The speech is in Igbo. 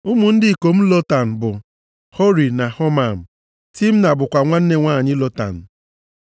Ụmụ ndị ikom Lotan bụ, Hori na Homam. Timna bụkwa nwanne nwanyị Lotan.